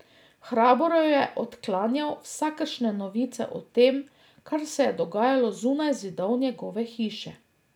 Hrabro je odklanjal vsakršne novice o tem, kar se je dogajalo zunaj zidov njegove hiše.